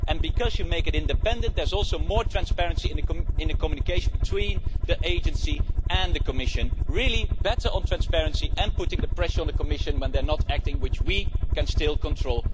And in making it independent there is also more transparency in the communication between the agency and the Commission. This is really better on transparency and putting the pressure on the Commission when they are not acting, which we can still control.